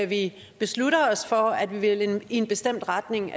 vi beslutter os for at ville gå i en bestemt retning